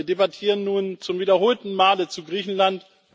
Wir debattieren nun zum wiederholten Male zu Griechenland.